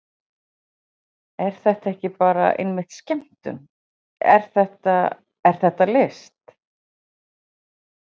Er þetta ekki bara einmitt skemmtun, er þetta, er þetta list?